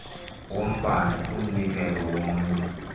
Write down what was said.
sombane kumnikelo womnye